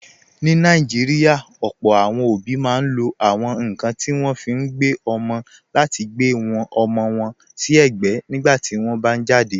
Ní Nàìjíríà, ọ̀pọ̀ àwọn òbí máa ń lo àwọn nkan tí wọ́n fi ń gbé ọmọ láti gbe ọmọ wọn si egbe nígbà tí wọ́n bá jáde.